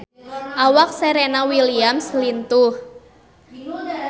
Awak Serena Williams lintuh